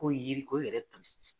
Ko yiri o yɛrɛ tu tɛ ci